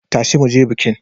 Tashi mu je bikin!